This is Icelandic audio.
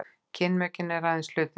kynmökin eru aðeins hluti þess